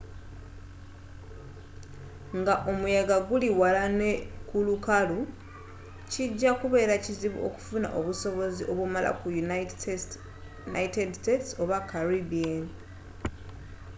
nga omuyaga guli wala ne kulukalu kijja kubera kizibu okufuna obusobozi obumala ku united states oba caribbean